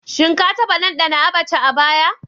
Shin ka taɓa ɗanɗana Abacha a baya?